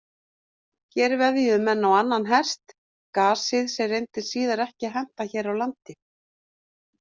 Hér veðjuðu menn á annan hest, gasið, sem reyndist síðar ekki henta hér á landi.